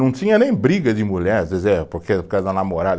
Não tinha nem briga de mulher, às vezes é, porque, por causa da namorada.